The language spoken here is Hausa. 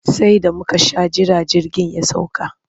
Sai da muka sha jira jirgin ya sauka.